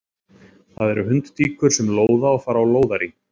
Það eru hundtíkur sem lóða og fara á lóðarí.